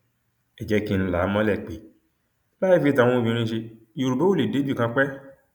ẹ jẹ kí n là á mọlẹ pé láì fi tàwọn obìnrin ṣe yorùbá ò lè débìkan pẹẹ